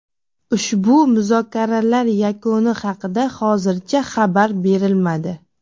Ushbu muzokaralar yakuni haqida hozircha xabar berilmadi.